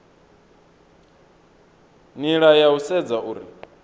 nila ya u sedza uri